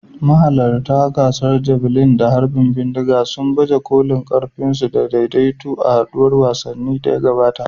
Mahalarta gasar javelin da harbin bindiga sun baje kolin ƙarfinsu da daidaito a haɗuwar wasannin da ta gabata.